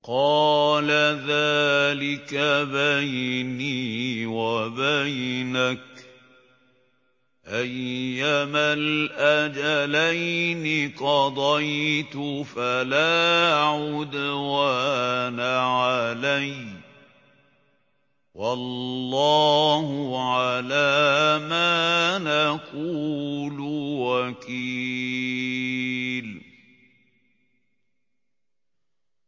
قَالَ ذَٰلِكَ بَيْنِي وَبَيْنَكَ ۖ أَيَّمَا الْأَجَلَيْنِ قَضَيْتُ فَلَا عُدْوَانَ عَلَيَّ ۖ وَاللَّهُ عَلَىٰ مَا نَقُولُ وَكِيلٌ